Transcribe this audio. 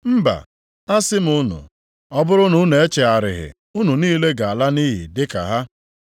Mba! Asị m unu, ọ bụrụ na unu echegharịghị, unu niile ga-ala nʼiyi dị ka ha.”